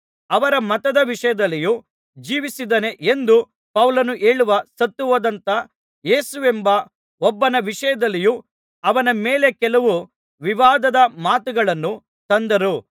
ಅವರ ಮತದ ವಿಷಯದಲ್ಲಿಯೂ ಜೀವಿಸಿದ್ದಾನೆ ಎಂದು ಪೌಲನು ಹೇಳುವ ಸತ್ತುಹೋದಂಥ ಯೇಸುವೆಂಬ ಒಬ್ಬನ ವಿಷಯದಲ್ಲಿಯೂ ಅವನ ಮೇಲೆ ಕೆಲವು ವಿವಾದದ ಮಾತುಗಳನ್ನು ತಂದರು